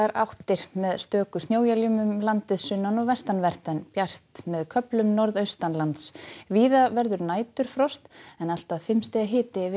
áttar með stöku snjóéljum um landið sunnan og vestanvert en bjart með köflum norðaustanlands víða verður næturfrost en allt að fimm stiga hiti yfir